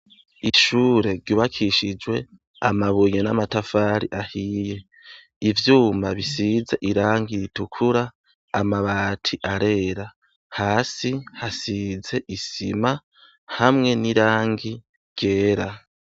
Ishure ry'ubakishijwe amabuye n'amatafari ahiye, ivyuma bisize irangi ritukura, amabati arera, hasi hasize isima hamwe n'irangi ryera.